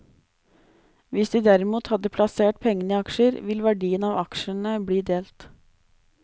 Hvis de derimot hadde plassert pengene i aksjer, vil verdien av aksjene bli delt.